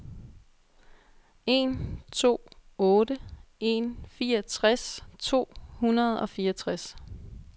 en to otte en fireogtres to hundrede og fireogtres